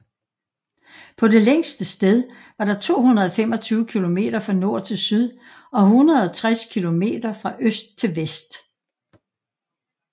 På det længste sted var der 225 kilometer fra nord til syd og 160 kilometer fra øst til vest